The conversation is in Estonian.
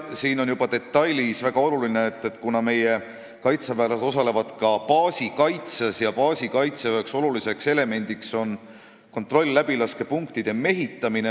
Mängus on üks väga oluline detail: meie kaitseväelased osalevad ka baasi kaitsel ja baasi kaitsel on väga tähtis kontroll-läbilaskepunktide mehitamine.